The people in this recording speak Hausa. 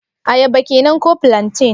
Ayaba kenan ko plantain?